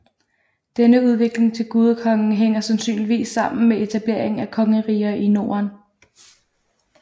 Denne udvikling til gudekonge hænger sandsynligvis sammen med etableringen af kongeriger i Norden